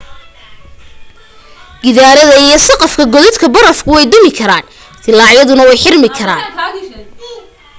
gidaarada iyo saqafka godadka barafku way dumi karaan dillaacyaduna way xirmi karaan